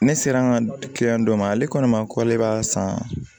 Ne sera an ka dɔ ma ale kɔni ma k'ale b'a san